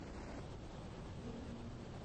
домино